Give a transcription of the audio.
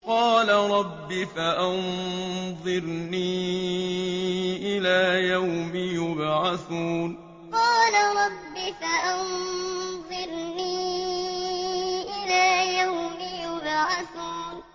قَالَ رَبِّ فَأَنظِرْنِي إِلَىٰ يَوْمِ يُبْعَثُونَ قَالَ رَبِّ فَأَنظِرْنِي إِلَىٰ يَوْمِ يُبْعَثُونَ